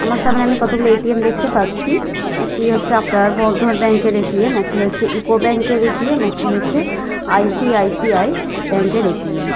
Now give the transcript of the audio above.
আমার সামনে আমি কতগুলি এ.টি.এম. দেখতে পাচ্ছি একটি হচ্ছে আপনার বন্ধন ব্যাঙ্ক এর এ.টি.এম. একটি হচ্ছে ইউকো ব্যাঙ্ক এর এ.টি.এম. একটি হচ্ছে আই.সি.আই.সি.আই. ব্যাঙ্ক এর এ.টি.এম. ।